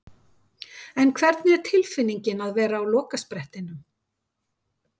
En hvernig er tilfinningin að vera á lokasprettinum?